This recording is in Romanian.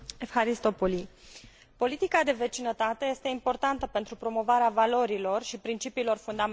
Politica de vecinătate este importantă pentru promovarea valorilor și principiilor fundamentale ale Uniunii Europene.